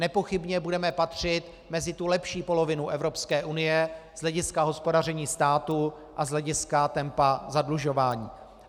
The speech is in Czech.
Nepochybně budeme patřit mezi tu lepší polovinu Evropské unie z hlediska hospodaření státu a z hlediska tempa zadlužování.